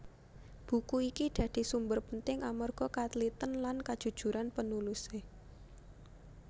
Buku iki dadi sumber penting amarga katliten lan kajujuran penulise